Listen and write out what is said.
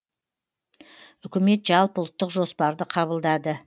үкімет жалпыұлттық жоспарды қабылдады